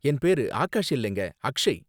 என் பேரு ஆகாஷ் இல்லங்க அக்ஷய்